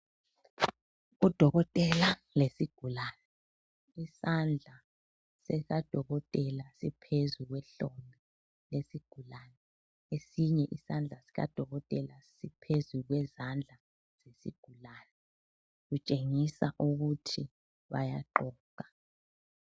Udokotela lesigulane, isandla sikadokotela siphezu kwehlombe lesigulane esinye isandla sikadokotela siphezu kwezandla zesigulane kutshengisa ukuthi bayaxoxa.